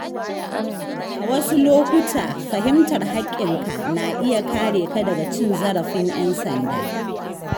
A wasu lokuta, fahimtar haƙƙinka na iya kare ka daga cin zarafin ‘yan sanda.